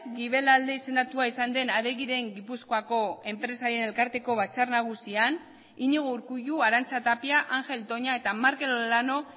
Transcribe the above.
guibelalde izendatua izan den adegiren gipuzkoako enpresarien elkarteko batzar nagusian iñigo urkullu arantxa tapia angel toña eta markel olano